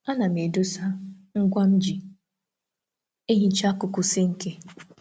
A na m echekwa brush dị nro maka ịsacha nkuku sinki na isi tap.